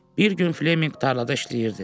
Bir gün Fleminq tarlada işləyirdi.